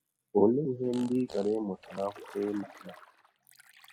Ọlee ihe ndị ị chọrọ ịmụta n’akwụkwọ ị na - aga?